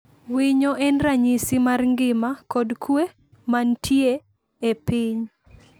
Winyo en ranyisi mar ngima kod kuwe ma nitie e piny.